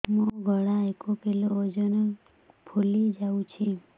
ମୋ ଗଳା ଏକ କିଲୋ ଓଜନ ଫୁଲି ଯାଉଛି